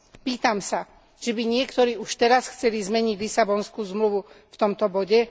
Pýtam sa, že by niektorí už teraz chceli zmeniť Lisabonskú zmluvu v tomto bode?